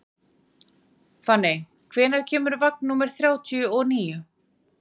Fanney, hvenær kemur vagn númer þrjátíu og níu?